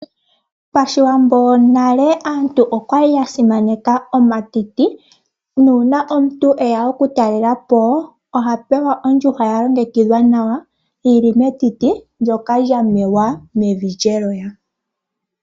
Pashiwambo nale aantu okwali ya simaneka omatiti . Uuna omuntu e ya okutalela po oha pewa ondjuhwa ya longekidhwa nawa yi li metiti ndyoka lya tholomwa mevi lyelowa.